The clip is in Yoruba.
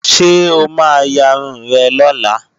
Ṣé o ma yarun rẹ̀ lọ́la?